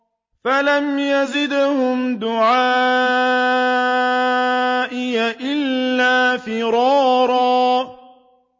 فَلَمْ يَزِدْهُمْ دُعَائِي إِلَّا فِرَارًا